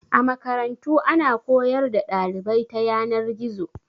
A Makarantu ana koyar da dalibai ta Yanar-gizo